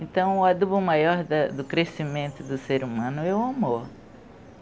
Então, o adubo maior da do crescimento do ser humano é o amor.